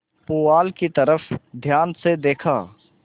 पुआल की तरफ ध्यान से देखा